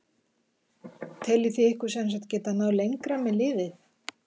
Þið teljið ykkur sem sagt geta náð lengra með liðið?